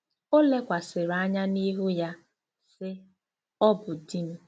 O lekwasịrị anya n'ihu ya, sị, Ọ bụ di m.